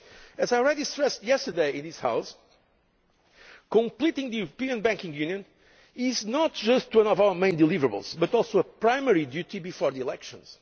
As I stressed yesterday in this House, completing the European Banking Union is not just one of our main deliverables but also our primary duty before the elections.